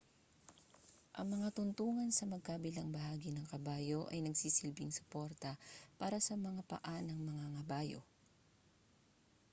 ang mga tuntungan sa magkabilang bahagi ng kabayo ay nagsisilbing suporta para sa mga paa ng mangangabayo